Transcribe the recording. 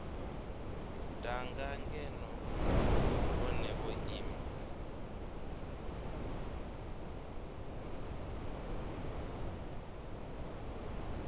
danga ngeno vhone vho ima